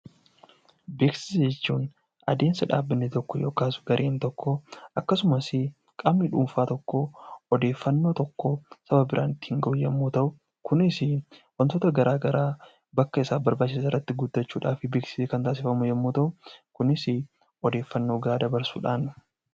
Beeksisa jechuun adeemsa dhaabbanni tokko yookaas gareen tokko akkasumas qaamni dhuunfaa tokko odeeffannoo tokko Saba biraan ittiin gahuu yemmuu ta'u wantoota garaagaraa bakka isaaf barbaachisan irratti guuttachuudhaaf beeksisni Kan taasifamu yoo ta'u kunis odeeffannoo gahaa dabarsuudhani.